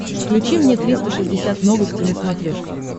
включи мне триста шестьдесят новости на смотрешке